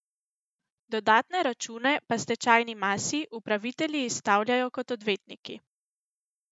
Dodatne račune pa stečajni masi upravitelji izstavljajo kot odvetniki.